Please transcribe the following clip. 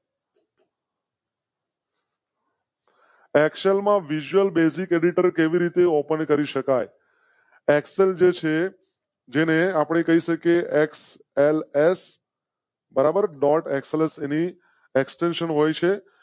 Excel માં visual basic auditor કેવી રીતે OPEN કરી શકાય? એક્સ જશે જેને આપણે કહી શકે. એક્સએલએસ. બરાબર ડૉટ. વોઇસ તો આમજ એક્શન હોય